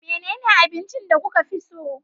Menene abincin da kuka fi so?